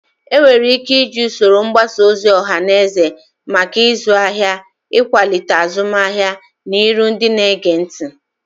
Enwere ike iji usoro mgbasa ozi ọha na eze maka ịzụ ahịa, ịkwalite azụmahịa, na iru ndị na-ege ntị.